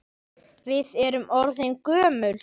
Við erum orðin gömul.